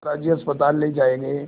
दादाजी अस्पताल ले जाए गए